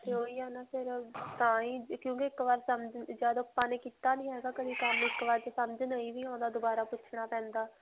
ਤੇ ਓਹ ਹੀ ਹੈ ਨਾ ਫਿਰ ਤਾਂਹੀ ਕਿਉਂਕਿ ਇੱਕ ਬਾਰ ਸਮਝ ਜਦ ਆਪਾਂ ਨੇ ਕੀਤਾ ਨਹੀਂ ਹੈ ਗਾ ਕਦੇ ਕੰਮ ਇੱਕ ਬਾਰ ਦੋਬਾਰਾ ਪੁੱਛਣਾ ਪੈਂਦਾ.